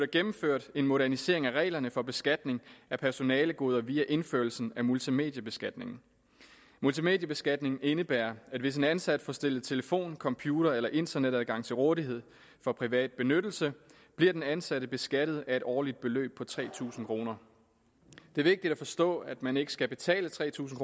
gennemført en modernisering af reglerne for beskatning af personalegoder via indførelsen af multimediebeskatning multimediebeskatningen indebærer at hvis en ansat får stillet telefon computer eller internetadgang til rådighed for privat benyttelse bliver den ansatte beskattet af et årligt beløb på tre tusind kroner det er vigtigt at forstå at man ikke skal betale tre tusind